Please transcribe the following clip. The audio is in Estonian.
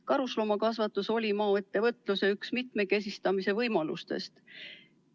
Karusloomakasvatus oli üks võimalus maaettevõtlust mitmekesistada.